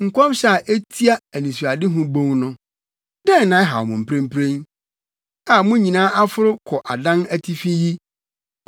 Nkɔmhyɛ a etia Anisoadehu Bon no: Dɛn na ɛhaw mo mprempren, a mo nyinaa aforo kɔ adan atifi yi,